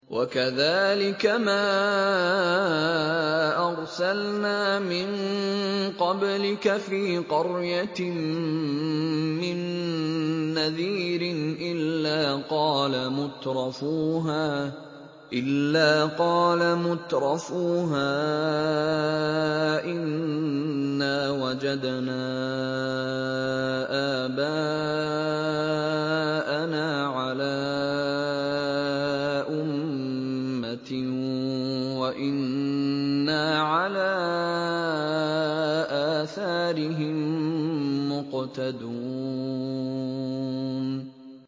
وَكَذَٰلِكَ مَا أَرْسَلْنَا مِن قَبْلِكَ فِي قَرْيَةٍ مِّن نَّذِيرٍ إِلَّا قَالَ مُتْرَفُوهَا إِنَّا وَجَدْنَا آبَاءَنَا عَلَىٰ أُمَّةٍ وَإِنَّا عَلَىٰ آثَارِهِم مُّقْتَدُونَ